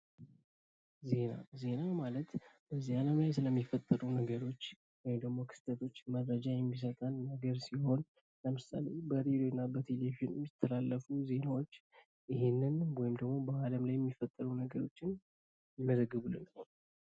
ዜና፦ ዜና ማለት በዚህ ዓለም ላይ ስለሚፈጠሩ ነገሮች ወይም ደግሞ ክስተቶች መረጃ የሚሰጠን የሚነግረን ሲሆን ለምሳሌ በሬድዮና በቴሌቪዥን የሚተላለፉ ዜናዎች ይህንን ወይም ደግሞ በዓለም ላይ የሚፈጠሩ ነገሮችን ይዘግቡልናል።